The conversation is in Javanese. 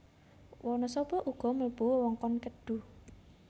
Wanasaba uga mlebu wewengkon Kedhu